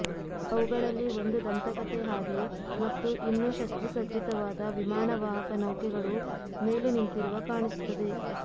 ಅವುಗಳಲ್ಲಿ ಒಂದು ದಂತಕಥೆ ಹಾಗೆ ಮತ್ತು ಇನ್ನೂ ಶಸ್ತ್ರಸಜ್ಜಿತವಾದ ವಿಮಾನವಾಹಕ ನೌಕೆಗಳು ಮೇಲೆ ನಿಂತಿರುವ ಕಾಣಿಸುತ್ತದೆ